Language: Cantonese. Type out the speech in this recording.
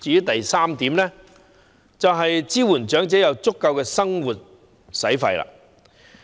第三個方面是支援長者有足夠的生活費用。